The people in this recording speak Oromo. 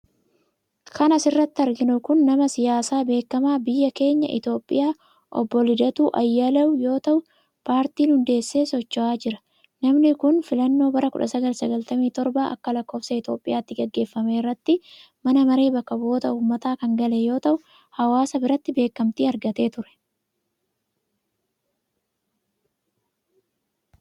Kan asirratti arginu kun, nama siyaasaa beekamaa biyya keenya Itoophiyaa ,Obbo LIdatuu Ayyaaleew yoo ta'u, paartii hundeesse socho'aa jira. Namni kun, filannoo bara 1997 akka lakkoofsa Itoophiyaatti gaggeeffame irratti mana maree bakka bu'oota ummataa kan gale yoo ta'u, hawaasa biratti beekamti argatee ture.